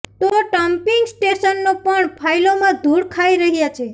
તો ડમ્પિંગ સ્ટેશનો પણ ફાઈલોમાં ધૂળ ખાઈ રહ્યા છે